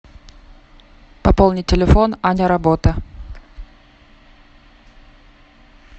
пополнить телефон аня работа